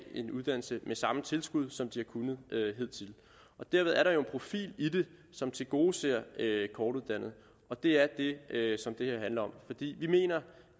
en uddannelse med samme tilskud som de har kunnet hidtil derved er der jo en profil i det som tilgodeser kortuddannede og det er det som det her handler om vi mener